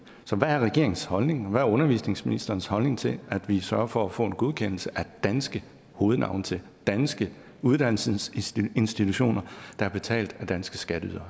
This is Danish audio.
så hvad er regeringens holdning og hvad er undervisningsministerens holdning til at vi sørger for at få en godkendelse af danske hovednavne til danske uddannelsesinstitutioner der er betalt af danske skatteydere